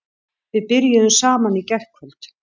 Við byrjuðum saman í gærkvöld.